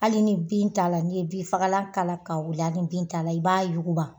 Hali ni bin t'a la n'i ye bin fagalan k'a la ka wili hali ni bin t'a la i b'a yuguba.